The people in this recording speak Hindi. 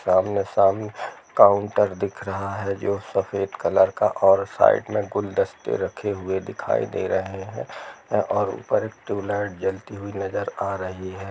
सामने सामने काउन्टर दिख रहा है जो सफेद कलर का और साइड में गुलदस्ते रखे हुए दिखाई दे रहे है और ऊपर ट्यूबलाइट जलती हुई नजर आ रही है।